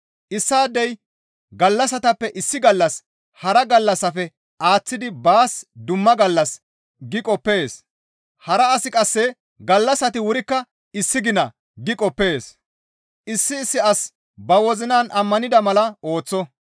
Issaadey, «Gallassatappe issi gallas hara gallassafe aaththidi baas dumma gallas» gi qoppees; hara asi qasse, «Gallassati wurikka issi gina» gi qoppees. Issi issi asi ba wozinan ammanida mala ooththo.